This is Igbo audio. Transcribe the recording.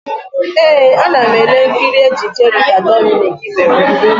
Ee, ana m ele nkiri ejije Rita Dominic mere.